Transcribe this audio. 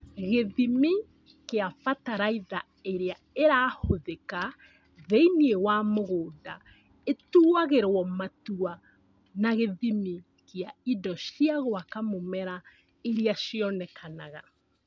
Gĩthimi kĩa bataraitha ĩrĩa ĩrahũthĩka thĩinĩ wa mũgũnda ĩtuagĩrwo matua na gĩthimi gĩa indo cia gwaka mũmera iria cionekanaga